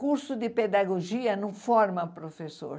Curso de pedagogia não forma professor.